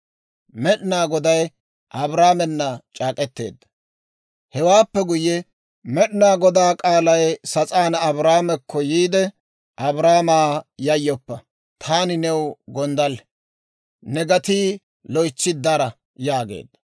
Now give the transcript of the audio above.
Hewaappe guyye, Med'inaa Godaa k'aalay sas'aani Abraamekko yiide, «Abraamaa, yayyoppa! Taani new gonddalle; ne gatii loytsi dara» yaageedda.